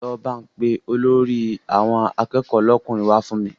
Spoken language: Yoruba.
Lọ pe Olórí àwọn akẹ́kọ̀ọ́ lọ́kùnrin wá fún mi